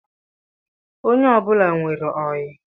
Onye ọbụla nwere oyi